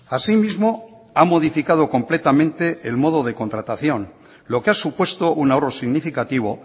asimismo ha modificado completamente el modo de contratación lo que ha supuesto un ahorro significativo